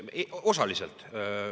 Osaliselt.